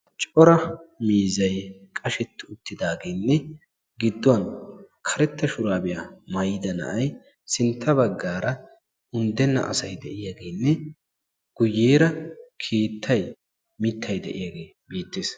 Cora miizay qashsheti uttidaagenne appe gidduwan karetta shurabiya maayyida na'ay sintta baggaara unddena asay de'iyaagenne guyyeera leettay mittay de'iyaage beettees.